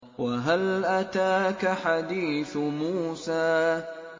وَهَلْ أَتَاكَ حَدِيثُ مُوسَىٰ